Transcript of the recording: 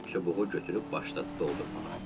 Çubuğu götürüb başladı doldurmağa.